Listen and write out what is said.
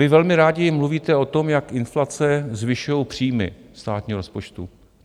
Vy velmi rádi mluvíte o tom, jak inflace zvyšuje příjmy státního rozpočtu.